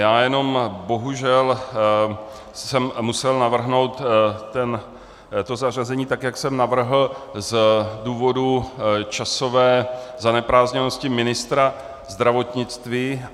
Já jenom bohužel jsem musel navrhnout to zařazení tak, jak jsem navrhl, z důvodu časové zaneprázdněnosti ministra zdravotnictví.